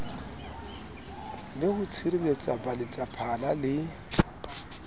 le ho tshireletsa baletsaphala le